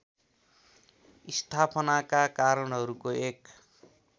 स्थापनाका कारणहरूको एक